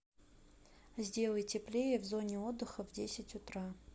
сделай теплее в зоне отдыха в десять утра